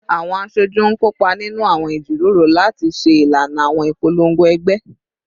Awọn aṣoju n kopa ninu awọn ijiroro lati ṣe ilana awọn ipolongo ẹgbẹ